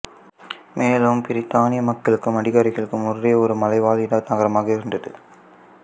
மேலும் பிரித்தானிய மக்களுக்கும் அதிகாரிகளுக்கும் முர்ரே ஒரு மலைவாழிட நகரமாக இருந்தது